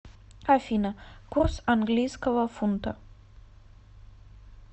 афина курс английского фунта